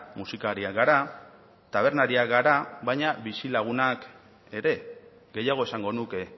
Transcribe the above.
musikariak gara tabernariak gara baina bizilagunak ere gehiago esango nuke